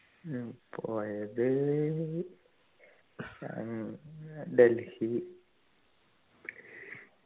ഞാൻ പോയത് ഏർ ഡൽഹി